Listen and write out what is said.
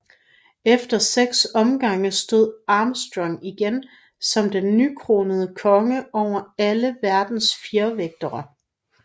Efter seks omgange stod Armstrong igen som den nykronede konge over alle verdens fjervægtere